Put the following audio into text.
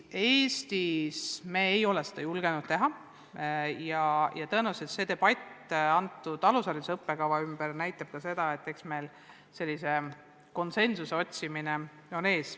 Eestis me ei ole seda julgenud teha ja tõenäoliselt debatt alushariduse õppekava ümber näitab ka seda, et meil seisab ees konsensuse otsimine.